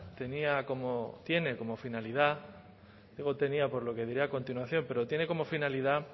tenía como tiene como finalidad digo tenía por lo que diré a continuación pero tiene como finalidad